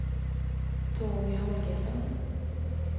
Tony Holgersson